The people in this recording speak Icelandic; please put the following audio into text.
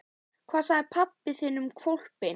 Hvað sagði pabbi þinn um hvolpinn?